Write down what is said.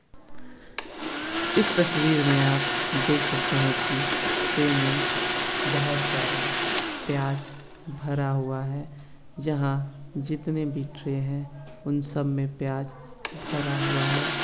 इस तस्वीर में आप देख सकते है की ट्रे में बहुत सारा प्याज भरा हुआ है जहा जीतने भी ट्रे है उन सब मे प्याज भरा हुआ है।